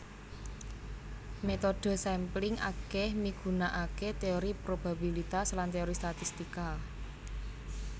Métodhe sampling akèh migunakaké téori probabilitas lan téori statistika